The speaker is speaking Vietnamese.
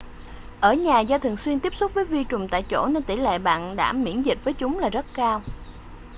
ở nhà do thường xuyên tiếp xúc với vi trùng tại chỗ nên tỷ lệ bạn đã miễn dịch với chúng là rất cao